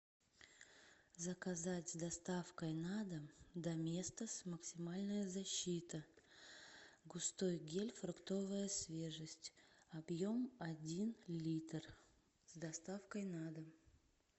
заказать с доставкой на дом доместос максимальная защита густой гель фруктовая свежесть объем один литр с доставкой на дом